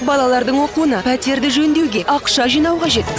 балалардың оқуына пәтерді жөндеуге ақша жинау қажет